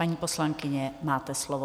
Paní poslankyně, máte slovo.